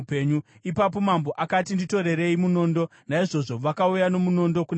Ipapo mambo akati, “Nditorerei munondo.” Naizvozvo vakauya nomunondo kuna mambo.